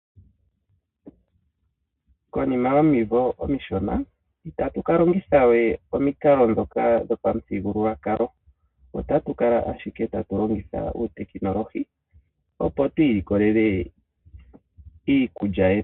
Konima yomimvo omishona itatu ka longitha we omikalo dhika dhopamuthigululwakalo otatu kala ashike tatu longitha uutekinolohi opo tu ilikolele iikulya yetu.